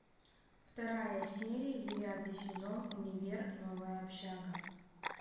вторая серия девятый сезон универ новая общага